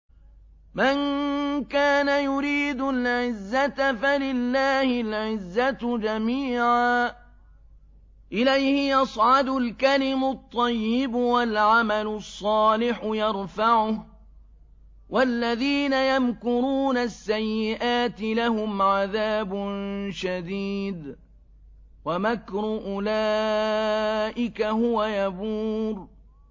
مَن كَانَ يُرِيدُ الْعِزَّةَ فَلِلَّهِ الْعِزَّةُ جَمِيعًا ۚ إِلَيْهِ يَصْعَدُ الْكَلِمُ الطَّيِّبُ وَالْعَمَلُ الصَّالِحُ يَرْفَعُهُ ۚ وَالَّذِينَ يَمْكُرُونَ السَّيِّئَاتِ لَهُمْ عَذَابٌ شَدِيدٌ ۖ وَمَكْرُ أُولَٰئِكَ هُوَ يَبُورُ